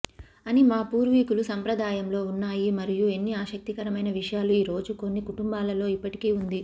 అని మా పూర్వీకులు సంప్రదాయంలో ఉన్నాయి మరియు ఎన్ని ఆసక్తికరమైన విషయాలు ఈ రోజు కొన్ని కుటుంబాలలో ఇప్పటికీ ఉంది